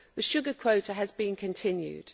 The sugar quota has been continued.